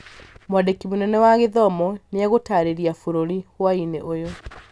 Mwandiki munene wa githomo nĩ egũtaarĩria bũrũrĩ hwaĩinĩ ũyũ